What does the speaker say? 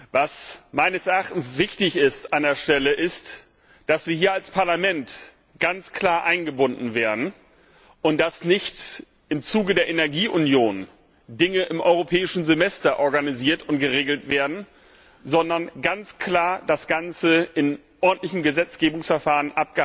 An dieser Stelle ist meines Erachtens wichtig, dass wir hier als Parlament ganz klar eingebunden werden und dass nicht im Zuge der Energieunion Dinge im Europäischen Semester organisiert und geregelt werden, sondern ganz klar das Ganze in ordentlichen Gesetzgebungsverfahren